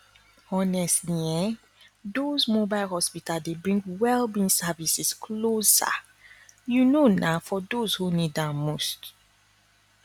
honestly ehndoz mobile hospital dey bring well being services closer you know na for those who need am most